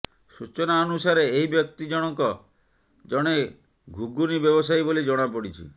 ସୂଚନା ଅନୁସାରେ ଏହି ବ୍ୟକ୍ତି ଜଣଙ୍କ ଜଣେ ଘୁଗୁନି ବ୍ୟବସାୟୀ ବୋଲି ଜଣାପଡ଼ିଛି